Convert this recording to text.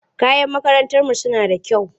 Mayan makarantarmu suna da kyau.